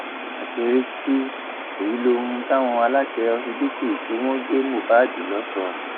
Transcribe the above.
àṣírí tú èyí lóhun táwọn aláṣẹ ọsibítù tí wọn gbé mohbad lọ sọ